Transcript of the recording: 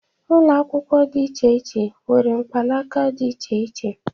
Ụlọakwụkwọ dị iche iche nwere mpakala dị iche iche.